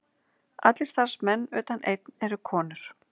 Allir starfsmenn utan einn eru konur